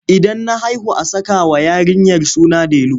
Idan na haihu a sakawa yarinyar suna delu.